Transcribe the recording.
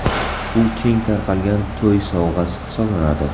U keng tarqalgan to‘y sovg‘asi hisoblanadi.